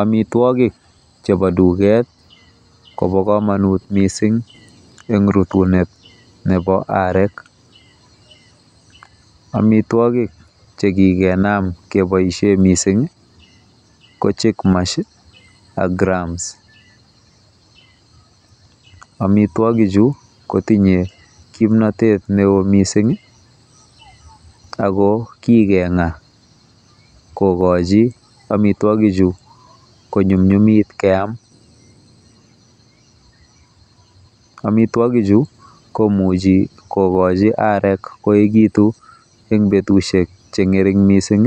omitwogik chebo duketi ko bo komonut missing rutunet nebo arek, omitwogik chekigenam keboisien missing ko chick mash ak grams omitwogikchu kotinye kimnotet neo missing i ako kigeng'a kokochi omitwogik chu kony'umny'umit keam, omitwogichu komuche kogoji agek koegitun en betusiek cheng'ering missing